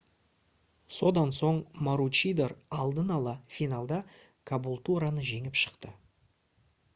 содан соң маручидор алдын-ала финалда кабултураны жеңіп шықты